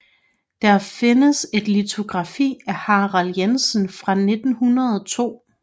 Der findes et litografi af Harald Jensen fra 1902